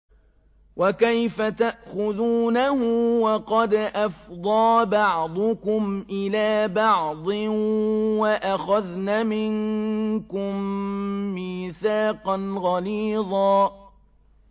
وَكَيْفَ تَأْخُذُونَهُ وَقَدْ أَفْضَىٰ بَعْضُكُمْ إِلَىٰ بَعْضٍ وَأَخَذْنَ مِنكُم مِّيثَاقًا غَلِيظًا